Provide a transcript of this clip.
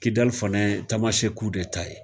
Kidali fana ye tamasekuw de ta ye